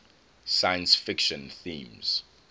science fiction themes